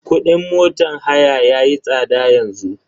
Kudin motan haya yayi tsada yanzu.